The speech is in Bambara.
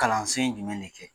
Kalansen jumɛn de kɛ?